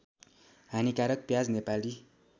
हानिकारक प्याज नेपाली